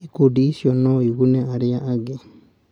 Ikundi ici no igune arĩa angĩ.